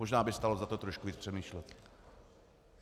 Možná by stálo za to trošku víc přemýšlet.